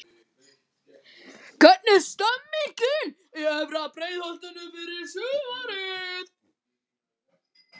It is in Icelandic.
Hvernig er stemningin í efra Breiðholtinu fyrir sumarið?